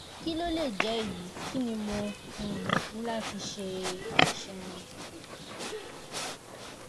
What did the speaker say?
kí ló lè jẹ́ èyí? kí ni mo um ní láti ṣe? ẹ ṣeun!